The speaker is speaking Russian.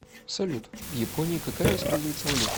салют в японии какая используется валюта